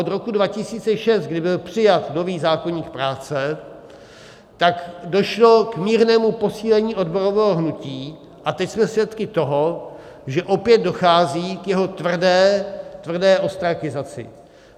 Od roku 2006, kdy byl přijat nový zákoník práce, tak došlo k mírnému posílení odborového hnutí a teď jsme svědky toho, že opět dochází k jeho tvrdé ostrakizaci.